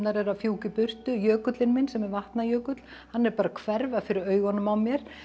eru að fjúka í burtu jökullinn minn sem er Vatnajökull hann er bara að hverfa fyrir augunum á mér